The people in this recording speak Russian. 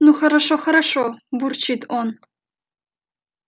ну хорошо-хорошо бурчит он